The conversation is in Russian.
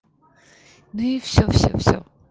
ну и всё всё всё